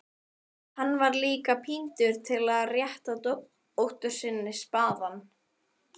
Hann var líka píndur til að rétta dótturinni spaðann.